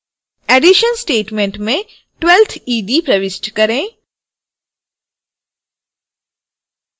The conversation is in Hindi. edition statement में 12th ed प्रविष्ट करें